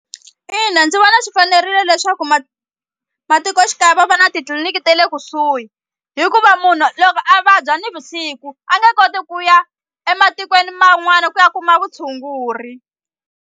Ina ndzi vona swi fanerile leswaku matikoxikaya va va na titliliniki te le kusuhi hikuva munhu loko a vabya nivusiku a nge koti ku ya ematikweni man'wana ku ya kuma vutshunguri.